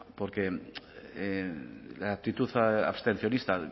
porque la actitud abstencionista